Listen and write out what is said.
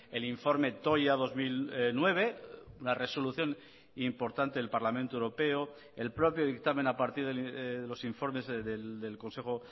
el informe toya dos mil nueve una resolución importante del parlamento europeo el propio dictamen a partir de los informes del consejo